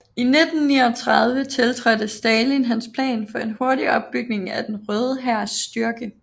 I 1939 tiltrådte Stalin hans plan for en hurtig opbygning af den Røde Hærs styrke